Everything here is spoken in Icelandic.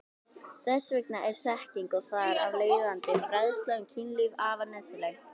Þess vegna er þekking og þar af leiðandi fræðsla um kynlíf afar nauðsynleg.